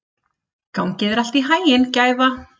Gangi þér allt í haginn, Gæfa.